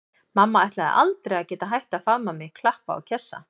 Mamma ætlaði aldrei að geta hætt að faðma mig, klappa og kjassa.